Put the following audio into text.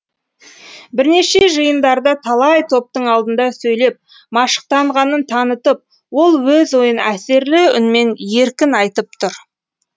бірнеше жиындарда талай топтың алдында сөйлеп машықтанғанын танытып ол өз ойын әсерлі үнмен еркін айтып тұр